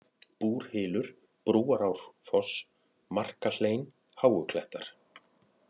Búrhylur, Brúarárfoss, Markahlein, Háuklettar